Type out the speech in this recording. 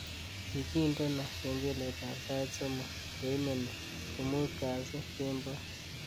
Kigindeno kengeletab sait somok ngoimeni ko muut kasi kemboi